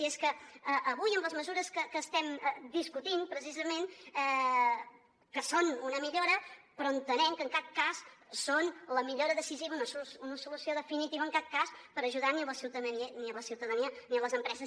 i és que avui amb les mesures que estem discutint precisament que són una millora però entenem que en cap cas són la millora decisiva una solució definitiva en cap cas per ajudar ni a la ciutadania ni a les empreses